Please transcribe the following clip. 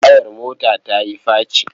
Tayar mota ta yi faci.